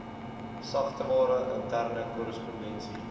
sagteware interne korrespondensie